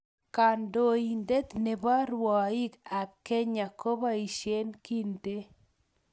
Katoinatee ne bo rwaii ab kenya ko boisie kintee.